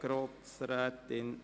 Grossrätin